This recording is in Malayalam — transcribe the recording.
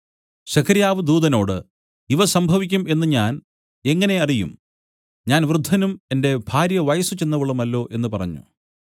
സെഖര്യാവ് ദൂതനോട് ഇവ സംഭവിക്കും എന്നു ഞാൻ എങ്ങനെ അറിയും ഞാൻ വൃദ്ധനും എന്റെ ഭാര്യ വയസ്സുചെന്നവളുമല്ലോ എന്നു പറഞ്ഞു